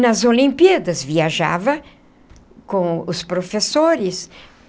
Nas Olimpíadas viajava com os professores.